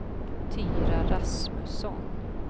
Tyra Rasmusson